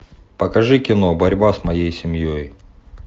покажи кино борьба с моей семьей